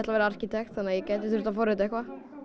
verða arkitekt þannig að ég gæti þurft að forrita eitthvað